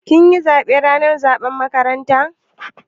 Kin yi zaɓe ranar zaɓen makaranta?